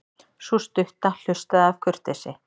Sú stutta hlustaði af kurteisi.